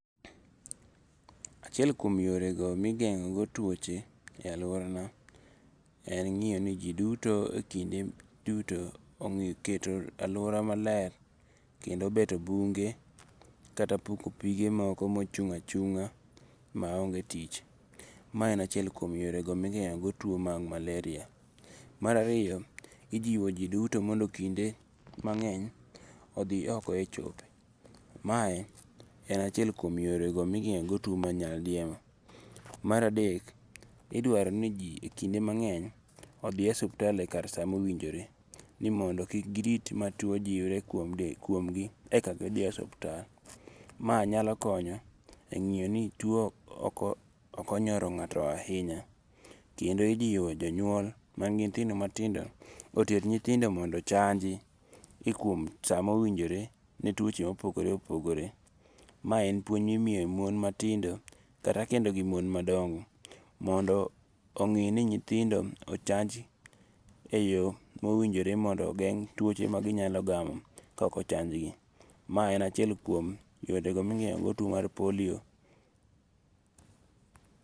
Achiel kuom yorego migengo'go tuoche e aluorana, en ngiyo ni ji duto e kinde duto oketo aluora maler kendo beto bunge kata puko pige moko ma ochung' achunga' maonge tich, ma en achiel kum yorego mi igengo go tuo mar maleria. Marariyo ijiwo ji duto mondo kinde mange'ny othie oko e chope, mae en achiel kuom yorego migengo' go tuo mar nyaldiema. Maradek idwaro ni ji ekinde mang’eny othie osiptal e kar saa mowinjore ni mondo kik girit ma tuwo jiwre kuomgi eka gi thie e ospital, mae nyalo konyo e ngiyo ni tuwo okonyoro nga'to ahinya , kendo ijiwo jonyuol mangi nyithindo matindo oter nythindo mondo ochanji e kuom e samowinjore ne twoche ma opogore opogore, mae en puonj ma imiyo mon matindo kata kendo gi mon madongo' mondo ongi' ni nyithindo ochanji e yo mowinjore mondo ogeng' tuoche maginyalo gamo ka okochanjgi, mae en achiel kuom yorego migengo'go tuo mar polio.